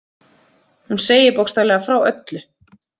Hún segir bókstaflega frá öllu.